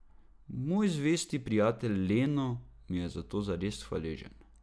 Moj zvesti prijatelj Leno, mi je zato zares hvaležen.